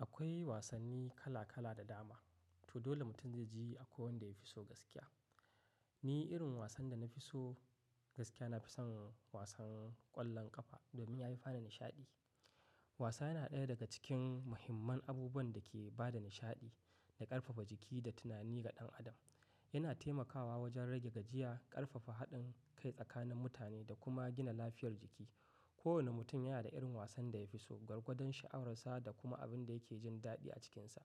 Akwai wasanni kala kala da dama. To dole mutum ya ji a ko wanda ya fi so gaskiya. Ni irin wasan da na fi so gaskiya, na fi son wasan ƙwallon ƙafa domin ya yi fani nishaɗi. Wasa yana ɗaya daga cikin muhimman abuban da ke ba da nishaɗi da ƙarfafa jiki da tunani ga ɗan adam. Yana taimakawa wajen rage gajiya, ƙarfafa haɗin kai tsakanin mutane da kuma gina lafiyar jiki. Kowane mutum yana da irin wasan da ya fi so, gwargwadon sha'awarsa da kuma abin da yake jin daɗi a cikinsa.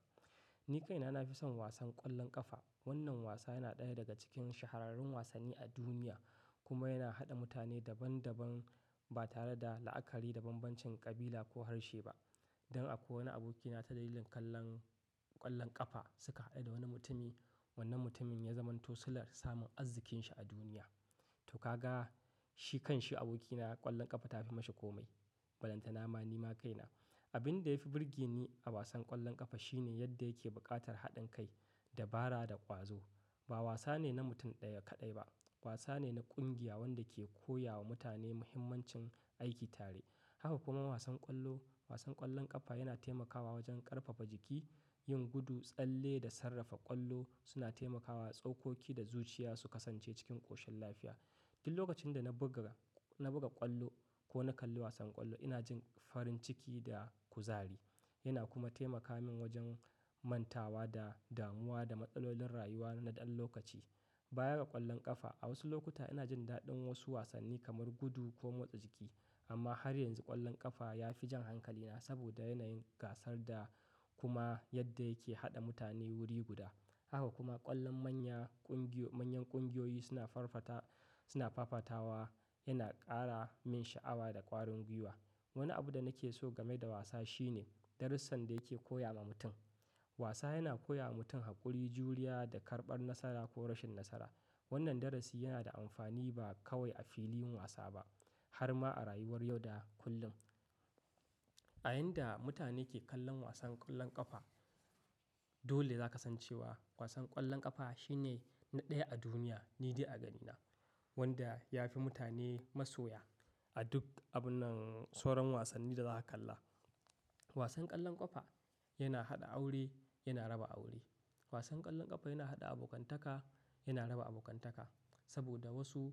Ni kaina na fi son wasan ƙwallon ƙafa. Wannan wasa yana ɗaya daga cikin shahararrun wasanni a duniya kuma yana haɗa mutane daban daban ba tare da la'akari da bambancin kabila ko harshe ba. Dan a ko wane abokina ta dalilin kallon ƙwallon ƙafa suka haɗu da wani mutumi. Wannan mutumin ya zamanto sillar samun azzikin shi a duniya. To ka ga shi kan shi abokina ƙwallon ƙafa ta fi mashi komai. Falanta na ma ni ma kaina. Abin da ya fi birge ni a wasan ƙwallon ƙafa shine yadda yake buƙatar haɗin kai, dabara da ƙwazo. Ba wasa ne na mutum ɗaya kaɗai ba, wasa ne na ƙungiya wanda ke koya wa mutane muhimmancin aiki tare. Haka kuma wasan ƙwallo, wasan ƙwallon ƙafa yana taimakawa wajen ƙarfafa jiki, yin gudu, tsalle da sarrafa ƙwallo suna taimakawa tsaukoki da zuciya su kasance cikin ƙoshin lafiya. Duk lokacin da na buga, na buga ƙwallo ko na kalli wasan ƙwallo ina jin farin ciki da kuzari. Yana kuma taimaka min wajen mantawa da damuwa da matsalolin rayuwa na ɗan lokaci. Baya ga ƙwallon ƙafa, a wasu lokuta ina jin daɗin wasu wasanni kamar gudu ko motsa jiki. Amma har yanzu ƙwallon ƙafa ya fi jan hankalina saboda yanayin gasar da kuma yadda yake haɗa mutane wuri guda. Haka kuma ƙwallon manya ƙungiyo, manyan ƙungiyoyi suna farfata, suna fafatawa yana ƙara min sha'awa da ƙwarin gwiwa. Wani abu da nake so game da wasa shine darussan da yake koya ma mutum. Wasa yana koya wa mutum haƙuri, juriya da karɓar nasara ko rashin nasara. Wannan darasi yana da amfani ba kawai a filin wasa ba har ma a rayuwar yau da kullum. A yayin da mutane ke kallon wasan ƙwallon ƙafa, dole za ka san cewa wasan ƙwallon ƙafa shine na ɗaya a duniya. Ni dai a ganina wanda ya fi mutane masoya a duk abunan soron wasanni da za ka kalla. Wasan ƙwallon ƙafa yana haɗa aure, yana raba aure. Wasan ƙwallon ƙafa yana haɗa abokantaka, yana raba abokantaka. Saboda wasu,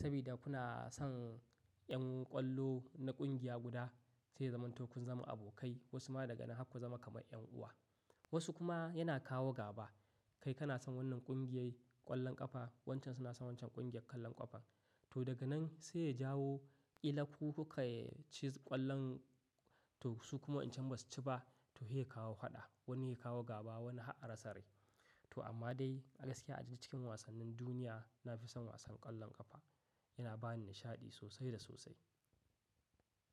sabida kuna son ƴan ƙwallo na ƙungiya guda zai zamanto kun zama abokai wasu ma daga nan haka ku zama kamar ƴan uwa. Wasu kuma yana kawo gaba. Kai kana son wannan ƙungiyoyyi ƙwallon ƙafa, wancan suna son waccan ƙungiyar ƙwallon ƙafa. To daga nan sai ya jawo ƙila ku kuka ci ƙwallon to su kuma in cin ba su ci ba to he kawo haɗa. Wani ya kawo gaba wani ha'a rasa rai. To amma dai a gaskiya a cikin wasannin duniya na fi son wasan ƙwallon ƙafa. Yana ba ni nishaɗi sosai da sosai.